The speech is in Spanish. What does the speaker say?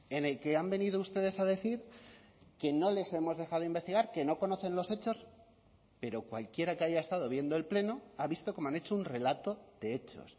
en el que han venido ustedes a decir que no les hemos dejado investigar que no conocen los hechos pero cualquiera que haya estado viendo el pleno ha visto cómo han hecho un relato de hechos